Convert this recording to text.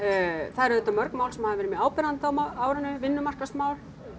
það eru auðvitað mörg mál sem hafa verið mjög áberandi á árinu vinnumarkaðsmál